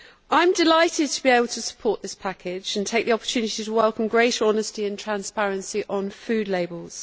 I am delighted to be able to support this package and take the opportunity to welcome greater honesty and transparency on food labels.